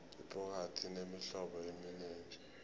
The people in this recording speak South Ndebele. ibhokadi inemihlobo eminengi